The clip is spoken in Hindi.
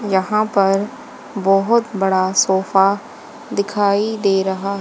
यहां पर बहोत बड़ा सोफा दिखाई दे रहा--